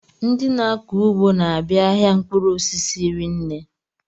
Ndị na-akọ ugbo n'abia ahịa mkpụrụ osisi rinne.